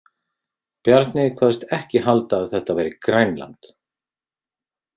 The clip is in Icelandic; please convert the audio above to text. Bjarni kvaðst ekki halda að þetta væri Grænland.